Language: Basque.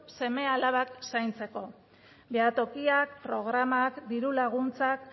seme alabak zaintzeko behatokiak programak diru laguntzak